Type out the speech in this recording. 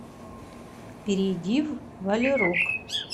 перейди в волерог